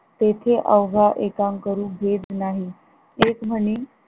तेथे अव्हा एकेका करून घेत नाही तेच म्हणे